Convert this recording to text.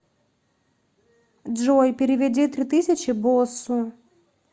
джой переведи три тысячи боссу